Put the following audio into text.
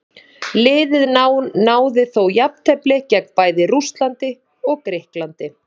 Liðið náði þó jafntefli gegn bæði Rússlandi og Grikklandi.